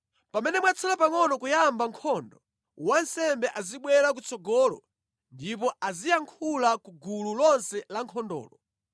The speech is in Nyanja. Pamene mwatsala pangʼono kuyamba nkhondo, wansembe azibwera kutsogolo ndipo aziyankhula ku gulu lonse lankhondolo.